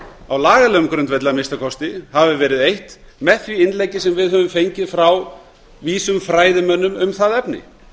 á lagalegum grundvelli að minnsta kosti hafi verið eytt með því innleggi sem við höfum fengið frá vísum fræðimönnum um það efni